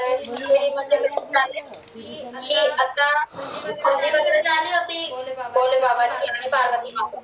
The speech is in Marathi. की आता होती भोले बाबा